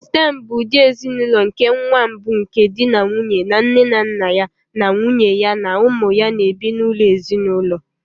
Stem bụ ụdị ezinụlọ nke nwa mbụ nke di na nwunye na nne na nna ya na nwunye ya na ụmụ ya na-ebi n'ụlọ ezinụlọ.